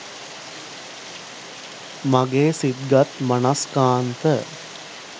මගේ සිත්ගත් මනස්කාන්ත